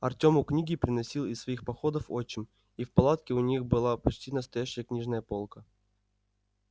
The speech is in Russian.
артёму книги приносил из своих походов отчим и в палатке у них была почти настоящая книжная полка